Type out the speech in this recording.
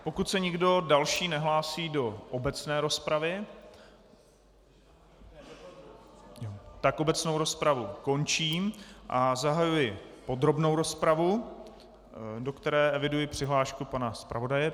Pokud se nikdo další nehlásí do obecné rozpravy, tak obecnou rozpravu končím a zahajuji podrobnou rozpravu, do které eviduji přihlášku pana zpravodaje.